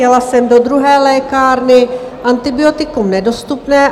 Jela jsem do druhé lékárny, antibiotikum nedostupné.